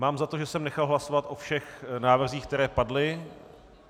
Mám za to, že jsem nechal hlasovat o všech návrzích, které padly.